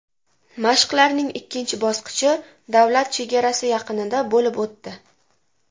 Mashqlarning ikkinchi bosqichi davlat chegarasi yaqinida bo‘lib o‘tdi.